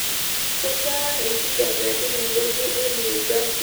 kejaa enkijape tinewuji ee new jersey